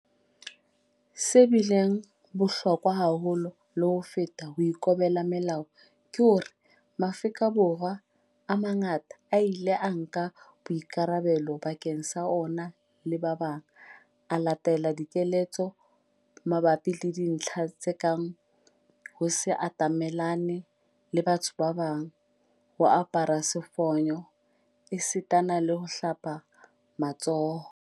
Se bileng bohlokwa haholo le ho feta ho ikobela melao, ke hore Maafrika Borwa a mangata a ile a nka boikarabelo bakeng sa ona le ba bang, a latela dikeletso mabapi le dintlha tse kang ho se atamellane le batho ba bang, ho apara sefonyo esitana le ho hlapa matsoho.